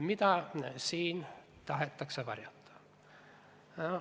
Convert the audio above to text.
Mida siin tahetakse varjata?